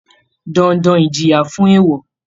Dandan Ìjìyà fún èèwọ̀